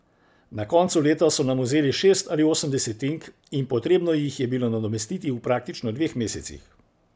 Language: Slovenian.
Na koncu leta so nam vzeli šest ali osem desetink in potrebno jih je bilo nadomestiti v praktično dveh mesecih.